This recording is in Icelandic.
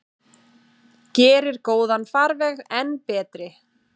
Gerir góðan farveg enn betri.